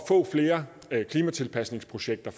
at klimatilpasningsprojekter